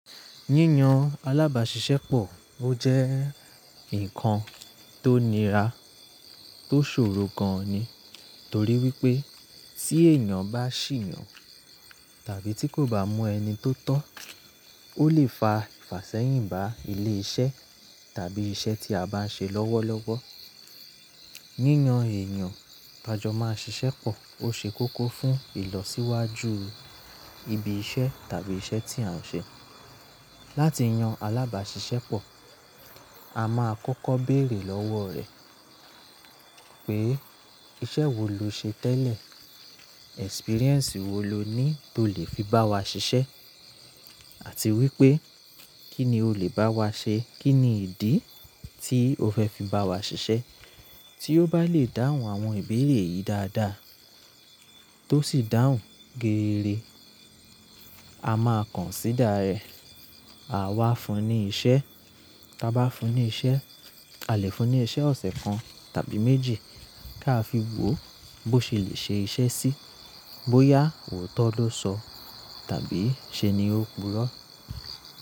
Yíyan alábàáṣiṣẹ́ pọ̀ ó jẹ́ ǹkan tó nira tó ṣòro gan ni. Torí wípé tí èèyàn bá ṣì yàn tàbí tí kò bá mu ẹni tó tọ́, ó lè fa ìfàṣẹ́yìn bá ilé-iṣẹ́ tàbí iṣẹ́ tí a bá ń ṣe lọ́wọ́lọ́wọ́. Yíyan èèyàn t'ájọ màá ṣiṣẹ́ pọ̀ ó ṣe kókó fún ìlọsíwájú ibi-iṣẹ́ tàbí iṣẹ́ tí a ń ṣe. Láti yan alábáṣiṣẹ́ pọ̀, a máa kọ́kọ́ bèèrè lọ́wọ̀ rẹ pé iṣẹ́ wo lo ṣe tẹ́lẹ̀? Experience wo lo ní tó lè fi bá wa ṣiṣẹ́? Àti wípé kí ni o lè bá wa ṣe? Kí ni ìdí tí o fẹ́ fi bá wa ṣiṣẹ́? Tí ó bá lè dáhùn àwọn ìbéèrè yìí dáadáa, tó sì dáhùn geere, a máa consider rẹ̀. À wá fún ní iṣẹ́, tá bá fún ní iṣẹ́, àlè fún ní iṣẹ́ ọ̀sẹ̀ kan tàbí méjì kí a fi wò bó ṣe lè ṣe iṣẹ́ sí. Bóyá òótọ́ ló sọ tàbí ṣe ni ó purọ́.